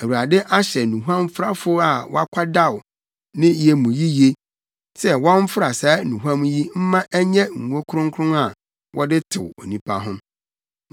Awurade ahyɛ nnuhuamfrafo a wakwadaw ne yɛ mu yiye, sɛ wɔmfra saa nnuhuam yi mma ɛnyɛ ngo kronkron a wɔde tew onipa ho.